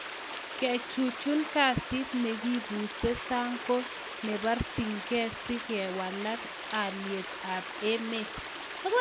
Kechuchuch kasit nekibuse sang ko neparchin gee si kowalak aliet AP emet.